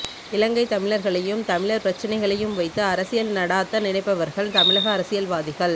இலங்கை தமிழர்களையும் தமிழர் பிரச்சினையையும் வைத்து அரசியல் நடாத்த நினைப்பவர்கள் தமிழக அரசியல்வாதிகள்